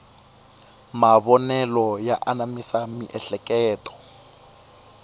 mavonelo ya anamisa miehleketo